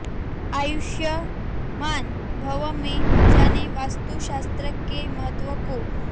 आयुष्मान भव् में जानें वास्तु शास्त्र के महत्व को